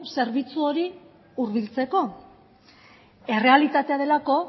zerbitzu hori hurbiltzeko errealitatea delako